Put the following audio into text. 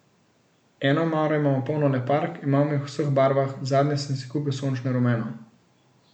Eno omaro imam polno le park, imam jih v vseh barvah, nazadnje sem si kupil sončno rumeno.